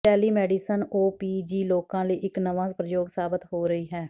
ਇਹ telemedicine O P G ਲੋਕਾਂ ਲਈ ਇਕ ਨਵਾਂ ਪ੍ਰਯੋਗ ਸਾਬਤ ਹੋ ਰਹੀ ਹੈ